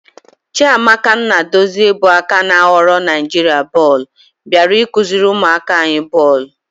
Chiamaka Nnadozie bụ aka ná ghọrọ Naijiria bọọlụ bịara ịkụziri ụmụaka anyị bọọlụ.